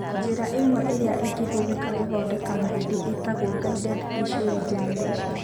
Njĩra ĩmwe ĩrĩa ĩngĩhũthĩka kũthondeka mahĩndĩ ĩtagwo guided tissue regeneration.